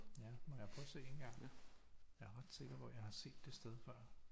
Ja må jeg prøve at se engang jeg er ret sikker på at jeg har set det sted før